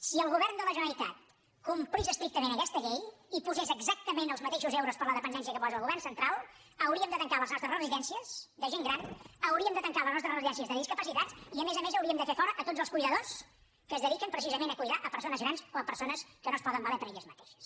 si el govern de la generalitat complís estrictament aquesta llei i posés exactament els mateixos euros per la dependència que posa el govern central hauríem de tancar les nostres residències de gent gran hauríem de tancar les nostres residències de discapacitats i a més a més hauríem de fer fora tots els cuidadors que es dediquen precisament a cuidar persones grans o persones que no es poden valer per elles mateixes